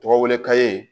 Tɔgɔ wele ka ye